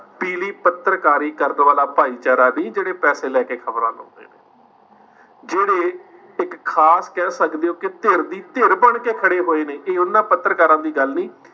ਪੱਤਰਕਾਰੀ ਕਰਨ ਵਾਲਾ ਭਾਈਚਾਰਾ ਨਹੀਂ ਜਿਹੜੇ ਪੈਸੇ ਲੈ ਕੇ ਖ਼ਬਰਾਂ ਲਾਉਂਦੇ ਨੇ ਜਿਹੜੇ ਇੱਕ ਖ਼ਾਸ ਕਹਿ ਸਕਦੇ ਹੋ ਕਿ ਧਿਰ ਦੀ ਧਿਰ ਬਣਕੇ ਖੜੇ ਹੋਏ ਨੇ ਇਹ ਉਹਨਾਂ ਪੱਤਰਕਾਰਾਂ ਦੀ ਗੱਲ ਨੀ,